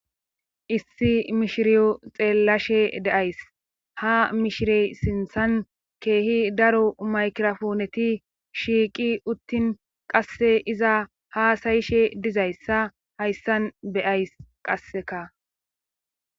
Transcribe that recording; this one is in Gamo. issi mishiriyo xeellashe deays ha mishirey sinthan keehi daro maykirafooneti shiiqi uttin qasse iza haasayishe dizayssa hayssan beyays qasseka